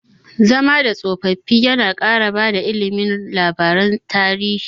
Zama da tsofaffi yana ƙara bada ilimi labaran tarihi.